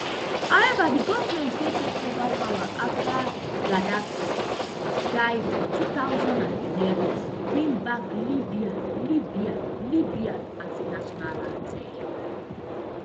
however di goment wey take ova power afta gaddafi die for two thousand and eleven bring back libya libya libya as di national anthem